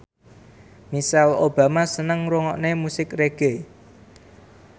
Michelle Obama seneng ngrungokne musik reggae